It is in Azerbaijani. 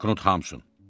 Knut Hamsun.